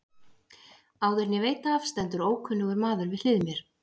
Áður en ég veit af stendur ókunnur maður við hlið mér.